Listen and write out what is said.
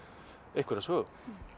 einhverja sögu